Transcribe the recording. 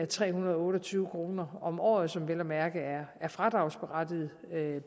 tre hundrede og otte og tyve kroner om året som vel at mærke er et fradragsberettiget